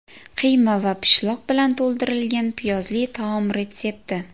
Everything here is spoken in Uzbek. Qiyma va pishloq bilan to‘ldirilgan piyozli taom retsepti.